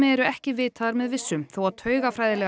ekki vitaðar með vissu þó að